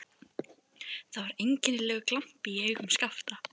Það var einkennilegur glampi í augum Skapta.